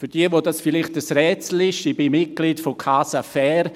Für diejenigen, für die dies vielleicht ein Rätsel ist: Ich bin Mitglied von Casafair.